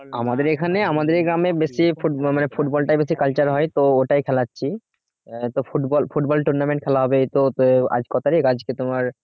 আমাদের এখানে আমাদের গ্রামের ফুটবল মানে ফুটবল টাই বেশি culture হয় তো ওটাই খেলাচ্ছি ফুটবল ফুটবল টুর্নামেন্ট খেলা হবে এইতো আজ ক তারিখ আজকে তোমার